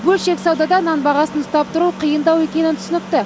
бөлшек саудада нан бағасын ұстап тұру қиындау екені түсінікті